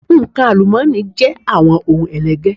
Nǹkan àlùmọ́ọ́nì jẹ́ àwọn ohun ẹlẹgẹ́.